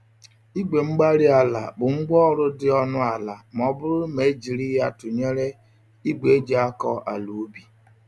igwe-mgbárí-ala bụ ngwa ọrụ dị ọnụ ala m'ọbụrụ ma ejiri ya tụnyere ìgwè eji-akọ-àlà-ubi